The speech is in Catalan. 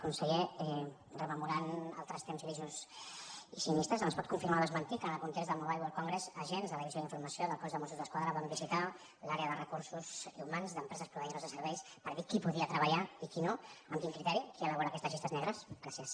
conseller rememorant altres temps grisos i sinistres ens pot confirmar o desmentir que en el context del mobile world congress agents de la divi sió d’informació del cos de mossos d’esquadra van visitar l’àrea de recursos humans d’empreses proveïdores de serveis per dir qui podia treballar i qui no amb quin criteri qui elabora aquestes llistes negres gràcies